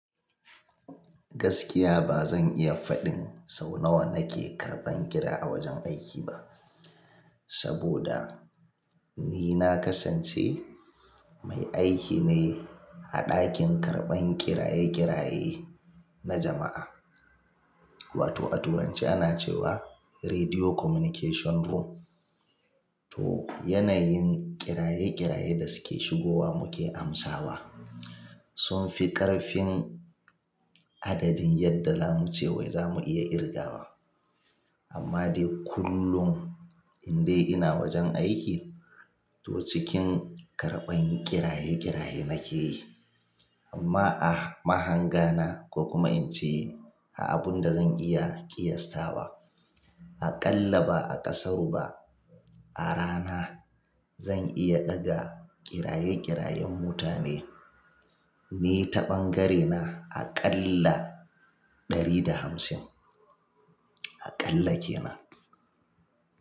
Gaskiya ba zan iya faɗin sau nawa nake karɓan kira a wajen aiki ba, saboda ni na kasance mai aiki ne a ɗakin karɓan kiraye-kiraye na jama'a. Wato a Turanci ana cewa "Radio Communication Room". Toh, yanayin kiraye-kiraye da suke shigowa muke amsawa sun fi ƙarfin adadin yadda za mu ce wai za mu iya ƙirgawa. Amma dai kullum in dai ina wajen aiki, to cikin karɓan kiraye-kiraye nake yi. Amma a mahanga na ko kuma in ce a abun da zan iya ƙiyastawa, aƙalla ba a ƙasaru ba, a rana zan iya ɗaga kiraye-kirayen mutane. Ni ta ɓangarena aƙalla ɗari da hamsin, aƙalla ke nan.